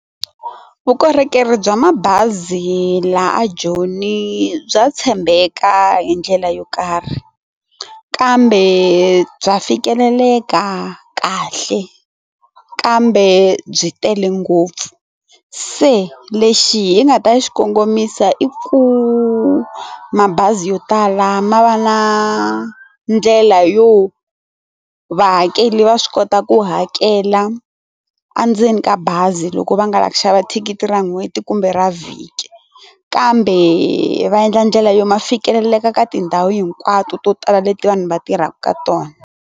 Vukorhokeri bya mabazi la a Joni bya tshembeka hi ndlela yo karhi kambe bya fikeleleka kahle kambe byi tele ngopfu se lexi hi nga ta xi kongomisa i ku mabazi yo tala ma va na ndlela yo vahakeli va swi kota ku hakela a ndzeni ka bazi loko va nga lava ku xava thikithi ra n'hweti kumbe ra vhiki kambe va endla ndlela yo ma fikeleleka ka tindhawu hinkwato to tala leti vanhu va tirhaka ka tona.